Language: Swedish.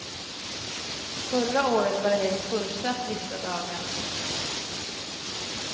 Förra året var det helt fullsatt vissa dagar.